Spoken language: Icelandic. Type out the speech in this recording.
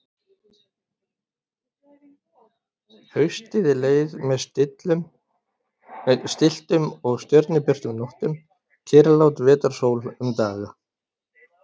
Haustið leið með stilltum og stjörnubjörtum nóttum, kyrrlát vetrarsól um daga.